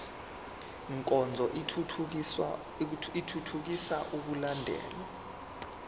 nkonzo ithuthukisa ukulandelwa